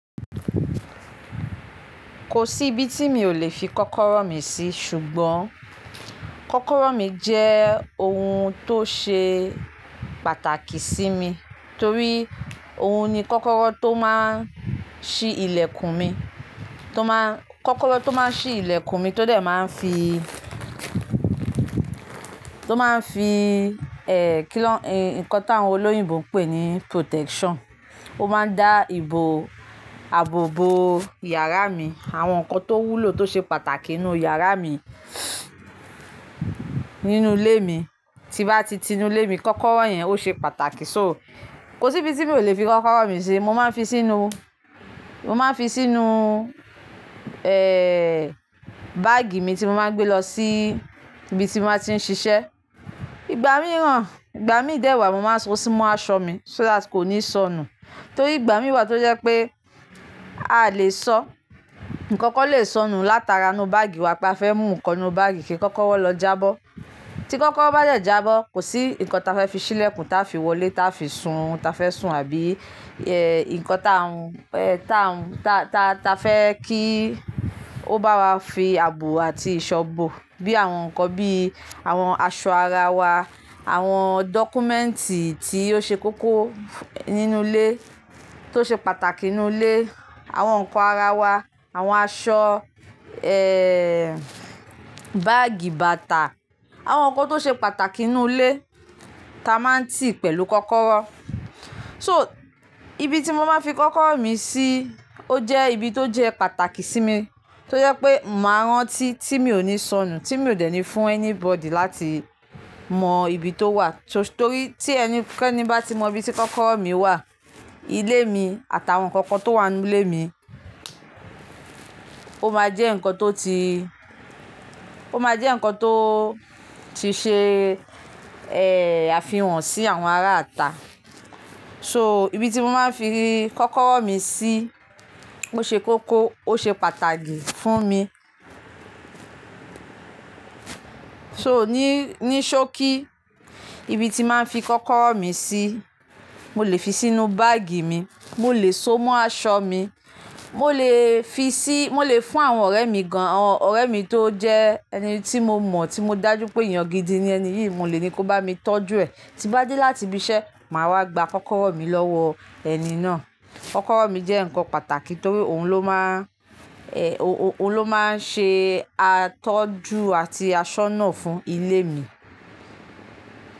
Kò sí ibi tí mi ò lè fi kọ́kọ́rọ́ mi sí ṣùgbọ́n kọ́kọ́rọ́ mi jẹ́ ohun tó ṣe pàtàkì sí mi torí ohun ni kọ́kọ́rọ́ tó máa ń ṣi ilẹ̀kùn mi, tó máa, kọ́kọ́rọ́ tó máa ń ṣi ilẹ̀kùn mi tó dẹ̀ máa ń fi, tó máa ń fi, eh, kí nan, nǹkan tí àwọn olóyìnbo ń pè ní protection. Ó máa ń dá ìbò, àbò bo yàrá mi, àwọn nǹkan tó wúlò tó ṣe pàtàkì nínú yàrá mi, nínú ilé mi, tí bá ti ti inú ilé mi, kọ́kọ́rọ́ yẹn ó ṣe pàtàkì. So kò sí ibi tí mi ò lè fi kọ́kọ́rọ́ mi sí, mo máa ń fi sínú, mo máa ń fi sínú, eh, báàgì mi tí mo máa ń gbé lọ sí ibi tí mo máa ti ń ṣiṣẹ́. Ìgbà mí rán, ìgbà mi dẹ́wàá mo máa so sí mọ́ aṣọ mi so that kò ní sọnù. Torí ìgbà mí wà tó jẹ́ pé a lè sọ, nǹkan kan lè sọnù látara inú báàgì wa kí a fẹ́ mú nǹkan inú báàgì kí kọ́kọ́rọ́ lọ jábọ́. Tí kọ́kọ́rọ́ bá dẹ̀ jábọ́, kò sí nǹkan táa fẹ́ fi ṣí ilẹ̀kùn, táa fi wọlé, táa fi sun, táa fẹ́ sun àbí, eh, nǹkan táa n, eh, táa n, ta, ta, ta fẹ́ kí ó bá wa fi àbò àti ìṣọ̀ bọ̀ bí àwọn nǹkan bí àwọn aṣọ ara wa, àwọn dọ́kúmẹ́ǹtì tí ó ṣe kókó nínú ilé, tó ṣe pàtàkì nínú ilé, àwọn nǹkan ara wa, àwọn aṣọ, eh, báàgì bàtà, àwọn nǹkan tó ṣe pàtàkì nínú ilé ta máa ń tì pẹ̀lú kọ́kọ́rọ́. So ibi tí mo máa ń fi kọ́kọ́rọ́ mi sí ó jẹ́ ibi tó jẹ́ pàtàkì sí mi torí pé màá rántí tí mi ò ní sọnù, tí mi ò dẹ́ni fún anybody láti mọ ibi tó wà. So torí tí ẹni, kí ẹni bá ti mọ ibi tí kọ́kọ́rọ́ mi wà, ilé mi àtàwọn nǹkan kan tó wà nínú ilé mi, ó máa jẹ́ nǹkan tó ti, ó máa jẹ́ nǹkan tó ti ṣe, eh, àfihàn sí àwọn ará ata. So ibi tí mo máa ń fi kọ́kọ́rọ́ mi sí ó ṣe kókó, ó ṣe pàtàkì fún mi. So ní, ní ṣóò kí ibi tí màá ń fi kọ́kọ́rọ́ mi sí, mo lè fi sínú báàgì mi, mo lè so mọ́ aṣọ mi, mo lè fi sí, mo lè fún àwọn ọ̀rẹ́ mi gan-an, ọ̀rẹ́ mi tó jẹ́ ẹni tí mo mọ̀, tí mo dájú pé èèyàn gidi ni ẹni yìí, mo lè ní kó bá mi tọ́jú ẹ̀. Tí bá dé láti ibi iṣẹ́, màá wá gba kọ́kọ́rọ́ mi lọ́wọ ẹni náà. Kọ́kọ́rọ́ mi jẹ́ nǹkan pàtàkì torí òun ló máa, eh, o-o-òun ló máa ń ṣe atọ́jú àti asọ́nà fún ilé mi.